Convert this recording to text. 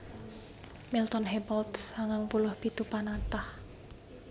Milton Hebald sangang puluh pitu panatah